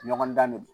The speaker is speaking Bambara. Ɲɔgɔndan de don